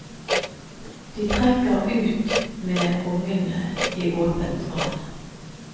De trekker ut med ungene i åpent vann.